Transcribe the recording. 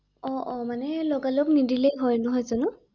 অ অ মানে লগালগ নিদিলে ভয় ৷নহয় জানো?